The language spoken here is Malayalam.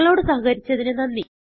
ഞങ്ങളോട് സഹകരിച്ചതിന് നന്ദി